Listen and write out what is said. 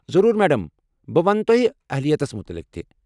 ضروٗر میڑم! بہٕ ونہٕ تۄہہ اہلیتس متعلق۔